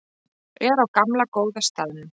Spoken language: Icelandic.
Er á gamla góða staðnum.